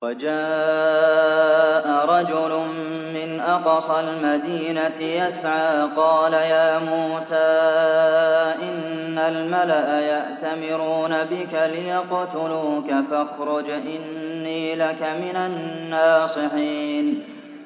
وَجَاءَ رَجُلٌ مِّنْ أَقْصَى الْمَدِينَةِ يَسْعَىٰ قَالَ يَا مُوسَىٰ إِنَّ الْمَلَأَ يَأْتَمِرُونَ بِكَ لِيَقْتُلُوكَ فَاخْرُجْ إِنِّي لَكَ مِنَ النَّاصِحِينَ